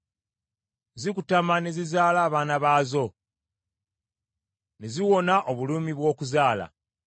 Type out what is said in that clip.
Zikutama ne zizaala abaana baazo, ne ziwona obulumi bw’okuzaala.